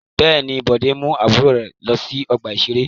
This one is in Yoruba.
Bẹ́ẹ̀ ni, Bọ̀dé mú àbúrò rẹ̀ ọkùnrin lọ sí ọgbà-ìṣeré.